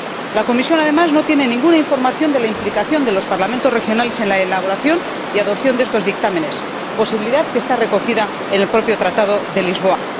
La Comisión, además, no tiene ninguna información de la implicación de los Parlamentos regionales en la elaboración y adopción de estos dictámenes, posibilidad que está recogida en el propio Tratado de Lisboa.